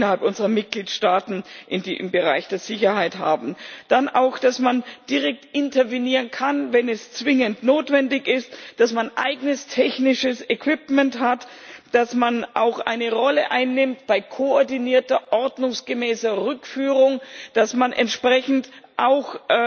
innerhalb unserer Mitgliedstaaten im Bereich der Sicherheit haben, dann auch, dass man direkt intervenieren kann, wenn es zwingend notwendig ist, dass man eigenes technisches Equipment hat, dass man auch eine Rolle bei koordinierter ordnungsgemäßer Rückführung einnimmt, dass man entsprechend auch,